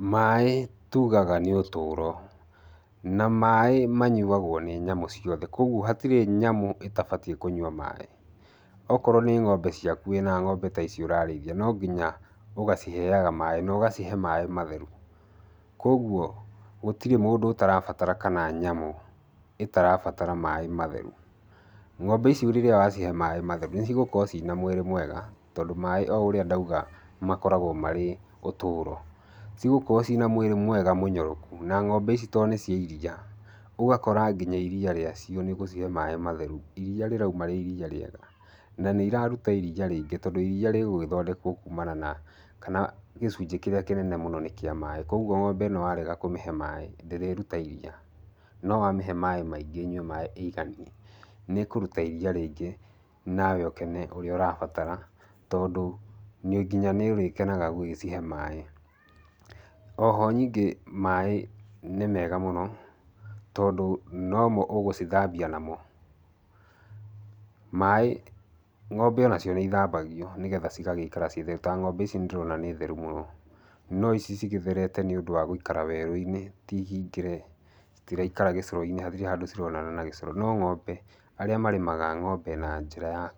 Maĩ tugaga nĩ ũtũũro. Na maĩ manyuagwo nĩ nyamũ ciothe. Kũguo hatirĩ nyamũ ĩtabatiĩ kũnyua maĩ. Okorwo nĩ ng'ombe ciaku wĩna ng'ombe ta ici ũrarĩithia, no nginya ũgaciheaga maĩ, na ũgacihe maĩ matheru. Kũguo, gũtirĩ mũndũ ũtarabatara kana nyamũ ĩtarabatara maĩ matheru. Ng'ombe ici rĩrĩa wacihe maĩ metheru, nĩ cigũkorwo cina mwĩrĩ mwega, tondũ maĩ o ũrĩa ndauga makoragwo marĩ ũtũũro. Cigũkorwo cina mwĩrĩ mwega mũnyoroku, na ng'ombe ici to nĩ cia iriia, ũgakora nginya iriia rĩa cio nĩ gũcihe maĩ matheru, iriia rĩrauma rĩ iriia rĩega. Na nĩ iraruta iriia rĩingĩ, tondũ iriia rĩgũgĩthondekwo kumana na kana gĩcunjĩ kĩrĩa kĩnene mũno nĩ kĩa maĩ. Kũguo ng'ombe ĩno warega kũmĩhe maĩ, ndĩrĩruta iriia. No wamĩhe maĩ maingĩ ĩnyue maĩ ĩiganie, nĩ ĩkũruta iriia rĩingĩ, nawe ũkene ũrĩa ũrabatara, tondũ nĩ nginya nĩ ũrekanaga gũgĩcihe maĩ. Oho nyingĩ maĩ nĩ mega mũno, tondũ nomo ũgũcithambia namo. Maĩ ng'ombe onacio nĩ ithambagio nĩgetha cigagĩikara ciĩ theru. Ta ng'ombe ici ndĩrona nĩ theru mũno. No ici cigĩtherete nĩ ũndũ wa gũikara werũ-inĩ, ti hingĩre, citiraikara gĩcoro-inĩ, hatirĩ handũ cironana na gĩcoro. No ng'ombe, arĩa marĩmaga ng'ombe na njĩra ya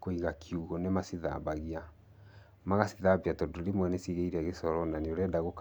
kũiga kiugũ nĩ macithambagia. Magacithambia tondũ rĩmwe nĩ cigĩire gĩcoro, na nĩ ũrenda gũkama.